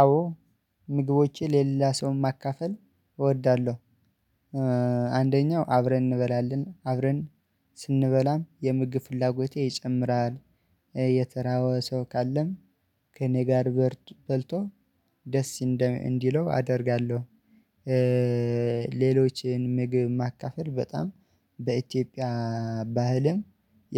አዎ ምግቦቼ ለሌላ ሰው ማካፈል እወዳለሁ። አንደኛው አብረን እንበላለን አብረን ስንበላም የምግብ ፍላጎቴ ይጨምራል። የተራበ ሰው ካለም ከእኔ ጋር በልቶ ደስ እንዲለው አደርጋለሁ። ሌሎችን ምግብ ማካፈል በጣም በኢትዮጵያ ባህልም